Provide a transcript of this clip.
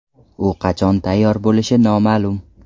U qachon tayyor bo‘lishi noma’lum.